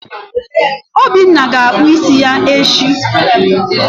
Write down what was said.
Obinna ga-akpụ isi ya echi.